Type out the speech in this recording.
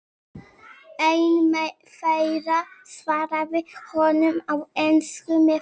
Einn þeirra svarar honum á ensku með sterk